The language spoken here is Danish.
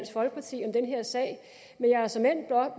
folkeparti om den her sag jeg har såmænd